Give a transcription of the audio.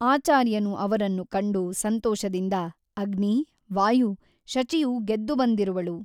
ಆಚಾರ್ಯನು ಅವರನ್ನು ಕಂಡು ಸಂತೋಷದಿಂದ ಅಗ್ನಿ ವಾಯು ಶಚಿಯು ಗೆದ್ದು ಬಂದಿರುವಳು.